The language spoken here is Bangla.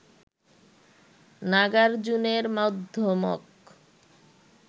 নাগার্জুনের মধ্যমক